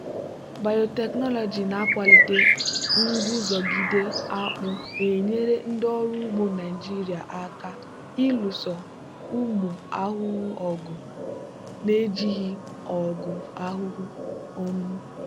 biotechnology na-akwalite nguzogide akpu na-enyere ndị ọrụ ugbo naijiria aka ịlụso ụmụ ahụhụ ọgụ na-ejighi ọgwụ ahụhụ. um